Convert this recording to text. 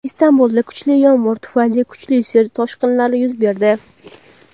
Istanbulda kuchli yomg‘ir tufayli kuchli suv toshqinlari yuz berdi.